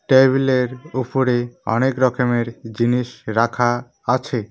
টেবিলের উফরে অনেক রকমের জিনিস রাখা আছে।